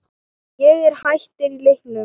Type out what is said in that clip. Ég er hættur í leiknum